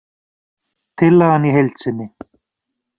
Tillagan í heild sinni